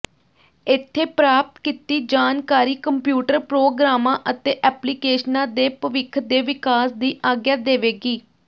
ਇੱਥੇ ਪ੍ਰਾਪਤ ਕੀਤੀ ਜਾਣਕਾਰੀ ਕੰਪਿਊਟਰ ਪ੍ਰੋਗਰਾਮਾਂ ਅਤੇ ਐਪਲੀਕੇਸ਼ਨਾਂ ਦੇ ਭਵਿੱਖ ਦੇ ਵਿਕਾਸ ਦੀ ਆਗਿਆ ਦੇਵੇਗੀ